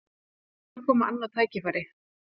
Það hlýtur að koma annað tækifæri